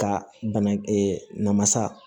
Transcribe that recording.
Ka bana namasa